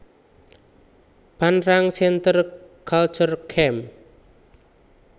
Phan Rang Centre Culturel Cam